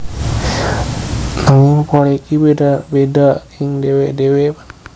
Nanging pola iki bedha bedha ing dhewe dhewe panandhang